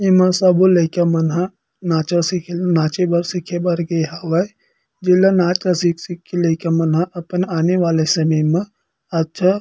एमा सबो लइका मन ह नाचा सिखे ल नाचे बा सिखे बर गे हवय जेला नाच ल सिख-सिख के लइका मन ह अपन आने वाले समय मा अच्छा--